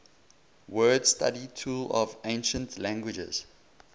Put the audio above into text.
word study tool of ancient languages